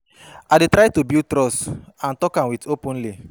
I dey try to build trust and talk with am openly.